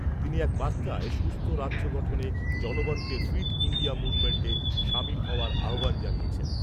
তিনি এক বার্তায় সুস্থ রাজ্য গঠনে জনগণকে ফিট ইণ্ডিয়া মুভমেন্টে সামিল হওয়ার আহ্বান জানিয়েছেন।